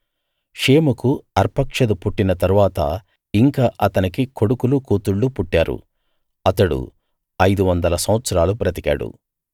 షేముకు అర్పక్షదు పుట్టిన తరువాత ఇంకా అతనికి కొడుకులు కూతుళ్ళు పుట్టారు అతడు ఐదు వందల సంవత్సరాలు బ్రతికాడు